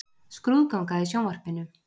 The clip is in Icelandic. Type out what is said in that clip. Skrúðganga í sjónvarpinu.